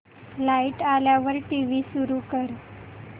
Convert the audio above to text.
light आल्यावर TV सुरू कर